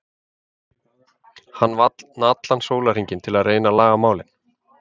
Hann vann allan sólarhringinn til að reyna að laga málin.